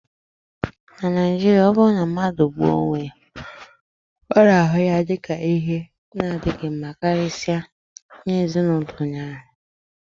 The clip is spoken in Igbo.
na Naijiria, ọ bụrụ na mmadụ gbuo onwe ya, a na-ahụ ya dị ka ihe na-adịghị mma karịsịa nye ezin'ulo onye ahu